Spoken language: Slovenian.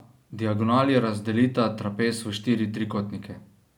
Diagonali razdelita trapez v štiri trikotnike.